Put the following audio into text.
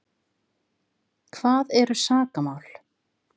Hvað eru sakamál?